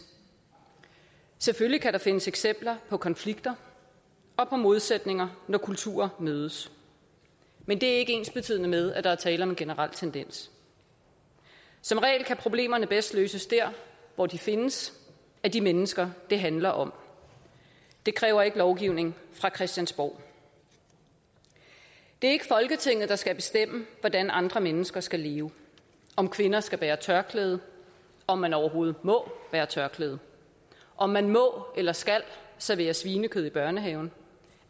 selvfølgelig kan der findes eksempler på konflikter og på modsætninger når kulturer mødes men det er ikke ensbetydende med at der er tale om en generel tendens som regel kan problemerne bedst løses der hvor de findes af de mennesker det handler om det kræver ikke lovgivning fra christiansborg det er ikke folketinget der skal bestemme hvordan andre mennesker skal leve om kvinder skal bære tørklæde om man overhovedet må bære tørklæde om man må eller skal servere svinekød i børnehaven